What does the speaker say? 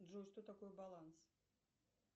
джой что такое баланс